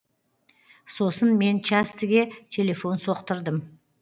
сосын мен частіге телефон соқтырдым